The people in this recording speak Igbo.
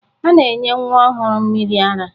A na-enye nwa ọhụrụ mmiri ara.